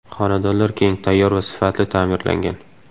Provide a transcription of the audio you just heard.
Xonadonlar keng, tayyor va sifatli ta’mirlangan.